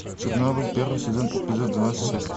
чернобыль первый сезон эпизод двадцать шесть